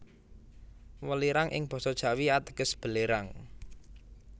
Welirang ing basa Jawi ateges belerang